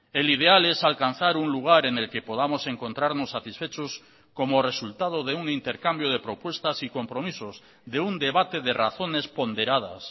el ideal es alcanzar un lugar en el que podamos encontrarnos satisfechos como resultado de un intercambio de propuestas y compromisos de un debate de razones ponderadas